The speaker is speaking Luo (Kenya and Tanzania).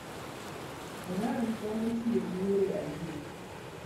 Iran temo tiyo gi yore adek.